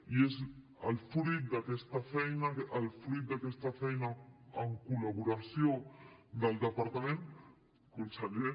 i és fruit d’aquesta feina el fruit d’aquesta feina en collaboració amb el departament conseller